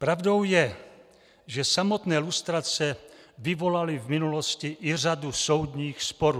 Pravdou je, že samotné lustrace vyvolaly v minulosti i řadu soudních sporů.